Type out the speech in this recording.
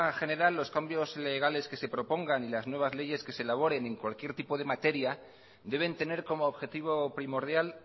general los cambios legales que se propongan y las nuevas leyes que se elaboren en cualquier tipo de materia deben tener como objetivo primordial